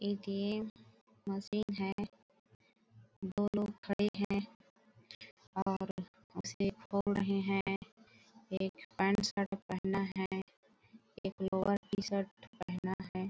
ऐ game machine है दो लोग खड़े है और उसे बोल रहे है एक पेंसिल पेन है एक लोअर टी शर्ट पहना है।